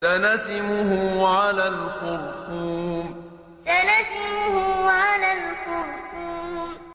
سَنَسِمُهُ عَلَى الْخُرْطُومِ سَنَسِمُهُ عَلَى الْخُرْطُومِ